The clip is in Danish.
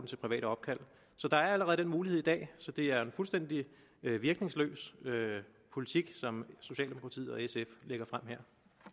til private opkald der er allerede den mulighed i dag så det er en fuldstændig virkningsløs politik som socialdemokratiet og sf lægger frem her